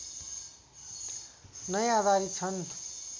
नै आधारित छन्